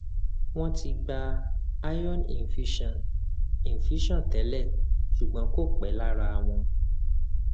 wọn ti gba iron infusion infusion tẹlẹ ṣùgbọn kò pẹ lára wọn